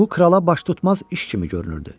Bu krala baş tutmaz iş kimi görünürdü.